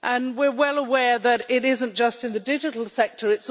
We are well aware that it is not just in the digital sector